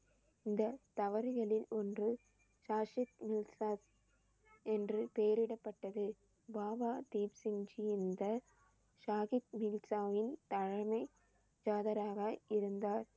இந்த தவறுகளில் ஒன்று என்று பெயரிடப்பட்டது. பாபா தீப் சிங் ஜி தலைமை ஜாதகராக இருந்தார்.